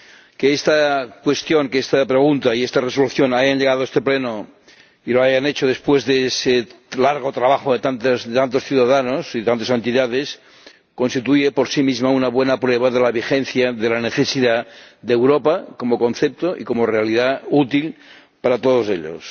Que esta pregunta y esta resolución hayan llegado a este Pleno y lo hayan hecho después de ese largo trabajo de tantos ciudadanos y tantas entidades constituye por sí mismo una buena prueba de la vigencia de la necesidad de Europa como concepto y como realidad útil para todos ellos.